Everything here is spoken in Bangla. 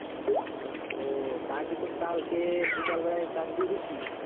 ও তা আমি তো কালকে বিকেলবেলায় গাছ দিয়ে দিছি।